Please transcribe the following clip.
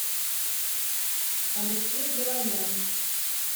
алексей галоян